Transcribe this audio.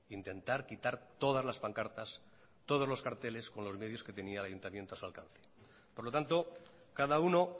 intentar quitar todas las pancartas todos los carteles con los medios que tenía el ayuntamiento a su alcance por lo tanto cada uno